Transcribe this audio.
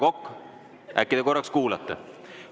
Härra Kokk, äkki te korraks kuulate?